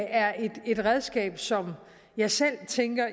er et redskab som jeg selv tænker